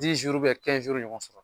ɲɔgɔn.